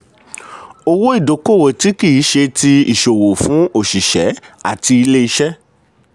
owó-ìdókòwò tí kì í ṣe ti ìsòwò fún òṣìṣẹ́ àti ilé-iṣẹ́.